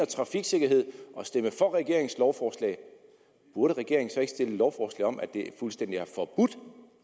trafiksikkerhed og stemme for regeringens lovforslag burde regeringen så ikke fremsætte et lovforslag om at det skulle fuldstændig forbudt